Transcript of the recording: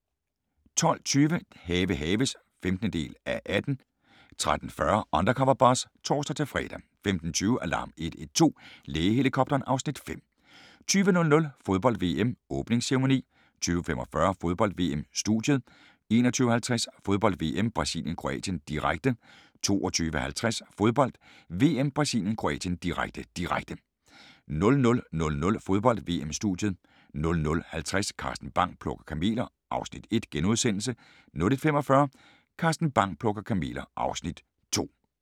12:20: Have haves (15:18) 13:40: Undercover Boss (tor-fre) 15:20: Alarm 112 – Lægehelikopteren (Afs. 5) 20:00: Fodbold: VM - Åbningsceremoni 20:45: Fodbold: VM - studiet 21:50: Fodbold: VM - Brasilien-Kroatien, direkte 22:50: Fodbold: VM - Brasilien-Kroatien, direkte, direkte 00:00: Fodbold: VM - studiet 00:50: Carsten Bang: Plukker kameler (Afs. 1)* 01:45: Carsten Bang: Plukker kameler (Afs. 2)